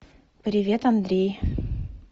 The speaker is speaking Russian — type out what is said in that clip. привет андрей